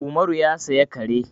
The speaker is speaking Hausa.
Umaru ya saya kare.